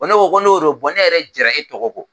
Ko ne ko n'o don ne yɛrɛ jɛnna e tɔgɔ kɔ